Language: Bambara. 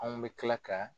Anw bɛ tila ka